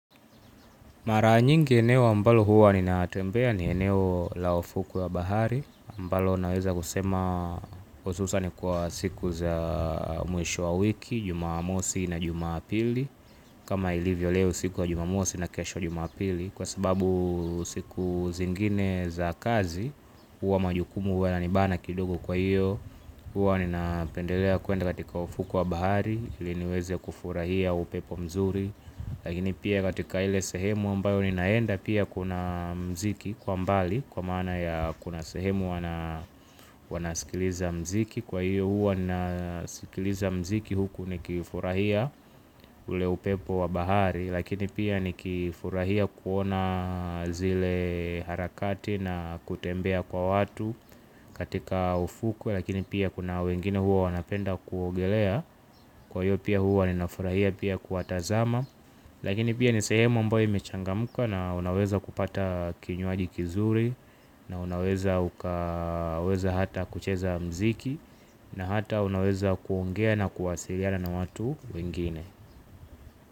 Mara nyingi eneo ambalo huwa ninatembea ni eneo la ufuku wa bahari. Ambalo naweza kusema hususan ni kwa siku za mwisho wa wiki, jumamosi na jumapili. Kama ilivyo leo siku ya jumamosi na kesho jumapili. Kwa sababu siku zingine za kazi huwa majukumu huwa yabanibana kidogo kwa hiyo huwa ninapendelea kuenda katika ufuku wa bahari. Ili niweze kufurahia upepo mzuri. Lakini pia katika ile sehemu ambayo ninaenda pia kuna mziki kwa mbali. Kwa maana ya kuna sehemu wanasikiliza mziki. Kwa hiyo huwa nasikiliza mziki huku nikifurahia ule upepo wa bahari. Lakini pia nikifurahia kuona zile harakati na kutembea kwa watu katika ufuku. Lakini pia kuna wengine huwa wanapenda kuogelea kwa hiyo pia huwa ninafurahia pia kuwatazama. Lakini pia ni sehemu ambayo imechangamuka na unaweza kupata kinyqaji kizuri. Na unaweza ukaweza hata kucheza mzik. Na hata unaweza kuongea na kuwasiliana na watu wengine.